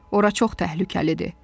Ora çox təhlükəlidir.